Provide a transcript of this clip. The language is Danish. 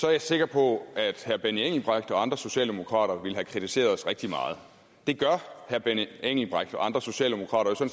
er jeg sikker på at herre benny engelbrecht og andre socialdemokrater ville have kritiseret os rigtig meget det gør herre benny engelbrecht og andre socialdemokrater